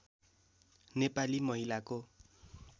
नेपाली महिलाको